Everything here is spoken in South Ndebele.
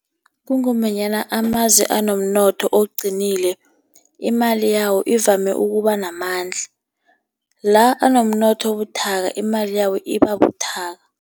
Kungombanyana amazwe anomnotho oqinileko imali yawo ivame ukuba namandla, la enomnotho obuthaka imali yabo iba buthaka.